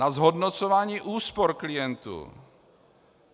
Na zhodnocování úspor klientů.